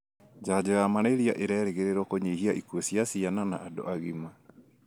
janjo ya malaria ĩrerĩgĩrĩrũo kũnyihia ĩkũu cia ciana na andũ agima.